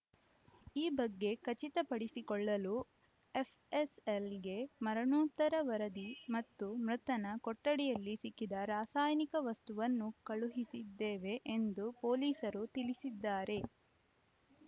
ಈ ಬಗ್ಗೆ ಖಚಿತಪಡಿಸಿಕೊಳ್ಳಲು ಎಫ್‌ಎಸ್‌ಎಲ್‌ಗೆ ಮರಣೋತ್ತರ ವರದಿ ಮತ್ತು ಮೃತನ ಕೊಠಡಿಯಲ್ಲಿ ಸಿಕ್ಕಿದ್ದ ರಾಸಾಯನಿಕ ವಸ್ತುವನ್ನು ಕಳುಹಿಸಿದ್ದೇವೆ ಎಂದು ಪೊಲೀಸರು ತಿಳಿಸಿದ್ದಾರೆ